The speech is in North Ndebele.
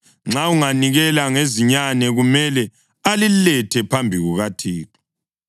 Nxa anganikela ngezinyane, kumele alilethe phambi kukaThixo.